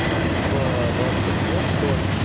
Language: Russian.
типа была такая фигня что